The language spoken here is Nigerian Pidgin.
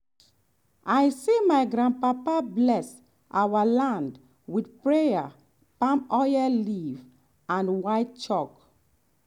i see my grandpapa bless our land with prayer palm oil leaf and white chalk.